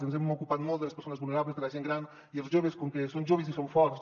ens hem ocupat molt de les persones vulnerables de la gent gran i els joves com que són joves i són forts